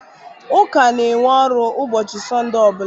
Ụka na-enwe ọrụ ụbọchị Sọnde ọ bụla.